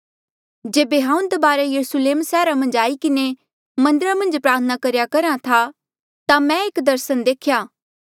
जेबे हांऊँ दबारा यरुस्लेम सैहरा मन्झ आई किन्हें मन्दरा मन्झ प्रार्थना करेया करहा था ता मै एक दर्सन देख्या